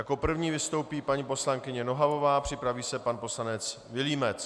Jako první vystoupí paní poslankyně Nohavová, připraví se pan poslanec Vilímec.